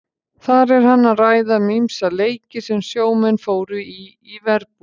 Þar er hann að ræða um ýmsa leiki sem sjómenn fóru í í verbúðum.